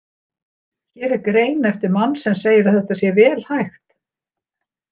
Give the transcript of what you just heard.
Hér er grein eftir mann sem segir að þetta sé vel hægt.